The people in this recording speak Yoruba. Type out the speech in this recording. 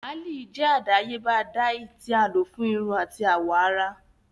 Làáli jẹ adayeba dye ti a lo fun irun ati awọ ara.